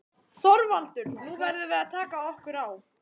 ÞORVALDUR: Nú verðum við að taka okkur á.